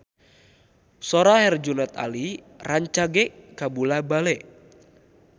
Sora Herjunot Ali rancage kabula-bale